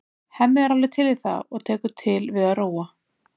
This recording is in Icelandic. Hemmi er alveg til í það og tekur til við að róa.